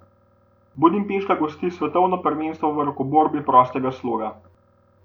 Budimpešta gosti svetovno prvenstvo v rokoborbi prostega sloga.